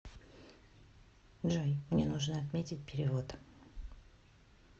джой мне нужно отметить перевод